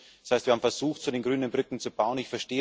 Das heißt, wir haben versucht, zu den Grünen Brücken zu bauen.